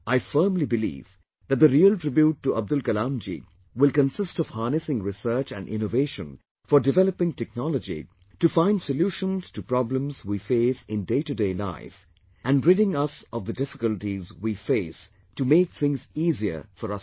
I firmly believe that the real tribute to Abdul Kalamji will consist of harnessing research and innovation for developing technology to find solutions to problems we face in day to day life, and ridding us of the difficulties we face to make things easier for us all